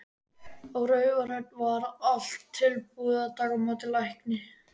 Á Raufarhöfn var allt tilbúið að taka á móti lækni.